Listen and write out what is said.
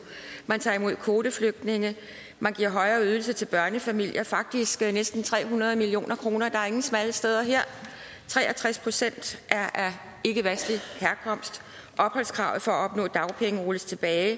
man tager imod kvoteflygtninge man giver højere ydelser til børnefamilier faktisk næsten tre hundrede million kroner der er ingen smalle steder her tre og tres procent er af ikkevestlig herkomst opholdskravet for at opnå dagpenge rulles tilbage